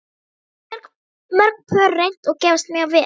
Þetta hafa mörg pör reynt og gefist mjög vel.